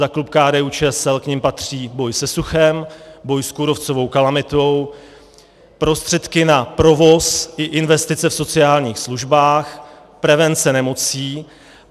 Za klub KDU-ČSL k nim patří: boj se suchem, boj s kůrovcovou kalamitou, prostředky na provoz i investice v sociálních službách, prevence nemocí.